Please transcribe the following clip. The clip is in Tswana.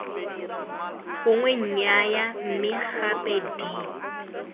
gongwe nnyaya mme gape d